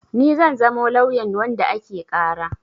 Ni zan zamo lauyan wanda ake ƙara.